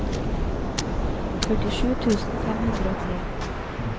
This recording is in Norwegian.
førtisju tusen fem hundre og tre